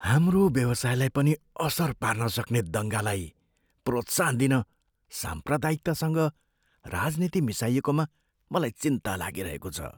हाम्रो व्यवसायलाई पनि असर पार्न सक्ने दङ्गालाई प्रोत्साहन दिन साम्प्रदायिकतासँग राजनीति मिसाइएकोमा मलाई चिन्ता लागिरहेको छ।